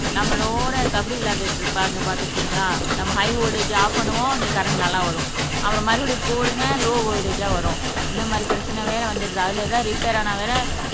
நம்மளோட கபடி விளையாடிட்டு இருப்பாங்க பார்த்திருக்கீங்களா நம்ம ஹை வோல்ட்டேஜ் ஆப் பண்ணுவோம் இங்க கரண்ட் நல்லா வரும் அப்புறம் மறுபடியும் போடுங்க லோ வோல்ட்டேஜ்ஜா வரும் இந்த மாதிரி பிரச்சனை வேற வந்துடுது அதுல எதாவது ரிப்பேர் ஆனா வேற